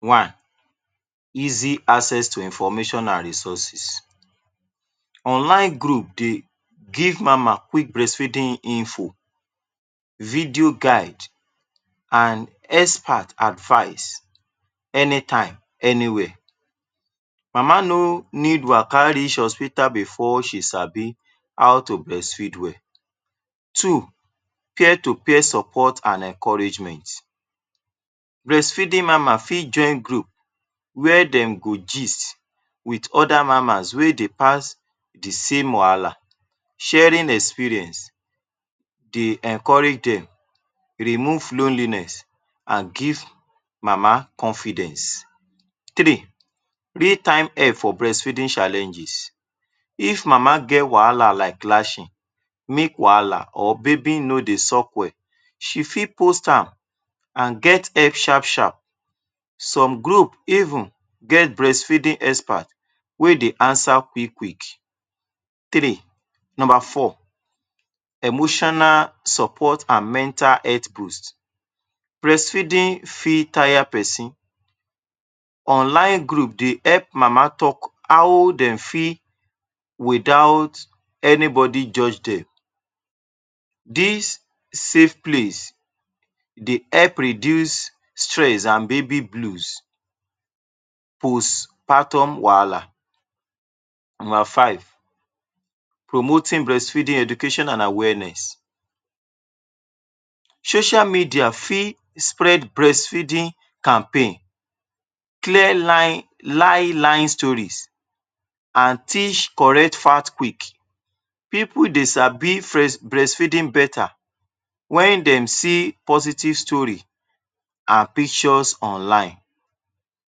One: easy access to information and resources, onlie group dey give mama quick breastfeeding info, video guide and expert advice any time any where. Mama no need waka reach hospital before she sabi how to breastfeed well. Two: peer to peer support and encouragement, beast feeding mama fit join group where dem go jist with other mama wey dey pass the same wahala. Sharing experience dey encourage dem remove lonliness and give mama confidence Three: meet time help for breastfeeding challenges, if mama get wahala like clashing, make wahala or baby no dey suck well, she fit pos am and get help sharp-sharp, some group even get breast feeding expert wey dey answer quick-quick. Number four: emotional support and mental health boast, breastfeeding fit tire person, online group dey help mama talk how dem fit without any body judge dem. Dis safe place dey help reduce stress and baby blus and pos patum wahala. Number five: promoting breastfeeding education and awareness, social media fit spread breastfeeding campaign, clear line- line stories and teach correct fact quick. Pipul dey sabi breast feeding beta wen dey see positive story and picture online.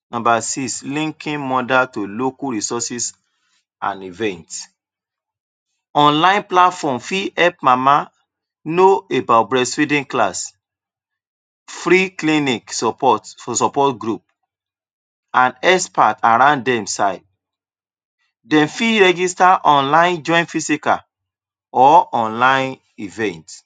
Number six: linking mother to local resources and event, online platform fit help mama no about breastfeeding class, free clinic support group and expert around dem side. Dem fit register dem physical or online event.